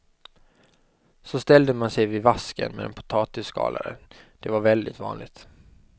Så ställde man sig vid vasken med en potatisskalare, det var väldigt vanligt.